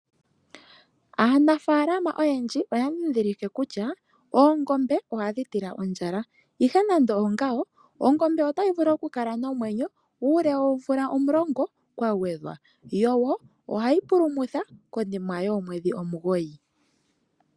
Aanafaalama oyendji oya ndhidhilike kutya oongombe ohadhi tila ondjala. Ihe nando oongawo ongombe otayi vulu okukala nomwenyo uule woomvula omulongo kwa gwedhwa. Yo wo ohayi pulumutha konima yoomwedhi omugoyi.